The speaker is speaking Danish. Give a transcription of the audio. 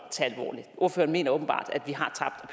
tage mener åbenbart at